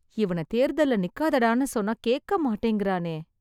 இவன தேர்தல்ல நிக்காதடான்னு சொன்னா கேக்கமாட்டேங்கறானே..